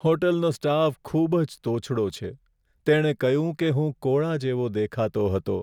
હોટલનો staff ખૂબ જ તોછડો છે. તેણે કહ્યું કે હું કોળા જેવો દેખાતો હતો.